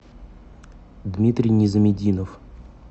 дмитрий низаметдинов